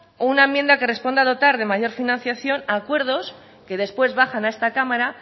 o una enmienda que responda dotar de mayor financiación a acuerdos que después bajan a esta cámara